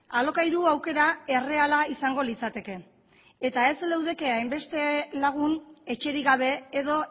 alokairu aukera erreala izango litzateke eta ez leudeke hainbeste lagun etxerik gabe edo